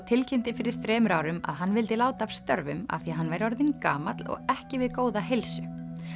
tilkynnti fyrir þremur árum að hann vildi láta af störfum af því að hann væri orðinn gamall og ekki við góða heilsu